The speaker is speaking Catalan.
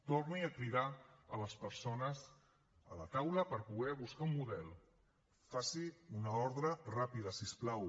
torni a cridar les persones a la taula per poder buscar un model faci una ordre ràpida si us plau